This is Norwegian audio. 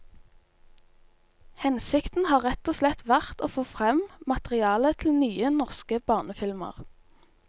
Hensikten har rett og slett vært å få frem materiale til nye, norske barnefilmer.